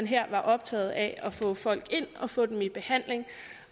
her var optaget af at få folk ind og få dem i behandling